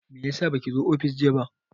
Meyasa baki zo ofis jiya ba?